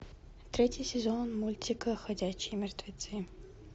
третий сезон мультика ходячие мертвецы